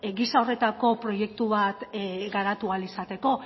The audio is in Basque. giza horretako proiektu bat garatu ahal izateko